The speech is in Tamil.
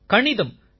கணிதம் சார்